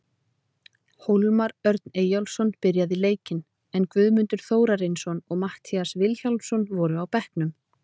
Hólmar Örn Eyjólfsson byrjaði leikinn, en Guðmundur Þórarinsson og Matthías Vilhjálmsson voru á bekknum.